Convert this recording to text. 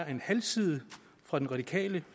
en halv side hvor den radikale